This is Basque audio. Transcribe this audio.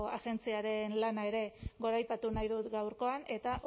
agentziaren lana ere goraipatu nahi dut gaurkoan eta